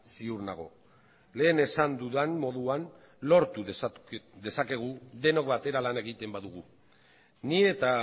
ziur nago lehen esan dudan moduan lortu dezakegu denok batera lan egiten badugu ni eta